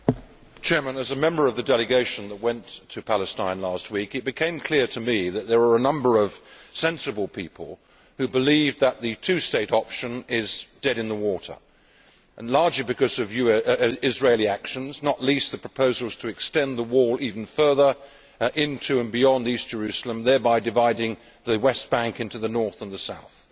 Mr President, as a member of the delegation that went to Palestine last week, it became clear to me that there are a number of sensible people who believe that the two state option is dead in the water, largely because of Israeli actions, not least the proposals to extend the wall even further into and beyond East Jerusalem, thereby dividing the West Bank into the north and the south.